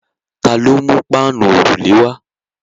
Ta ló mú páànù òrùlé wá?